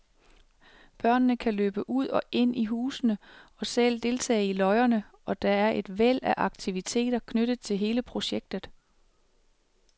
Børnene kan løbe ud og ind i husene og selv deltage i løjerne, og der er et væld af aktiviteter knyttet til hele projektet.